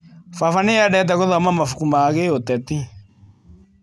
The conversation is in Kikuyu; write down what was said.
Baba nĩ endete gũthoma mabuku ma gĩũteti.